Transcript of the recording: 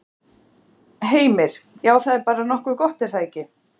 Heimir: Já, það er nú bara nokkuð gott er það ekki?